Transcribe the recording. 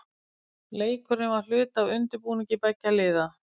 Leikurinn var hluti af undirbúningi beggja liða.